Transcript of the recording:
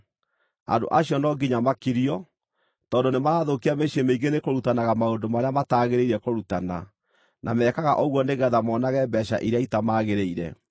Andũ acio no nginya makirio, tondũ nĩmarathũkia mĩciĩ mĩingĩ nĩkũrutanaga maũndũ marĩa mataagĩrĩire kũrutana, na mekaga ũguo nĩgeetha monage mbeeca iria itamagĩrĩire.